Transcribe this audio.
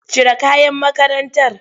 Cire kayan makarantar!